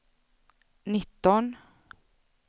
nitton